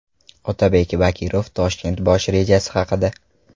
Otabek Bakirov Toshkent bosh rejasi haqida.